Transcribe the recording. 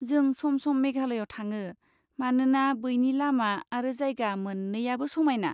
जों सम सम मेघालयाव थाङो मानोना बैनि लामा आरो जायगा मोननैयाबो समायना।